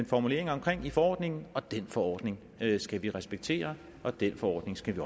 formulering om i forordningen og den forordning skal vi respektere og den forordning skal